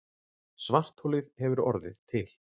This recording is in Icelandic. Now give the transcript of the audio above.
Svartholið hefur orðið til.